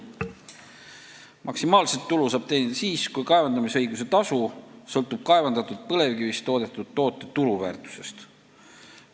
Maksimaalset tulu saab teenida siis, kui kaevandamisõiguse tasu sõltub kaevandatud põlevkivist toodetud toote turuväärtusest.